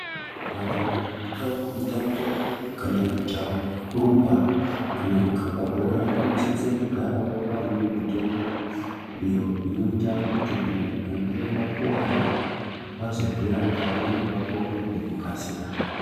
Vantu vanoitawo mitambo kana mijaho yekurumba kana kukaba bhora vanogarawo vaine mitombo iyo inoita kuti vakange vakuwara vazozvirapa uye vapore nekukasira.